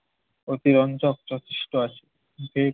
অতিরঞ্জক যথেষ্ট আছে। বে~